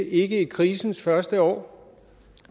ikke i krisens første år